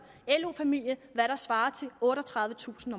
lo familie hvad der svarer til otteogtredivetusind